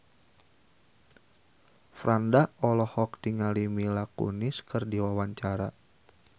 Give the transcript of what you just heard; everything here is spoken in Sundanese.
Franda olohok ningali Mila Kunis keur diwawancara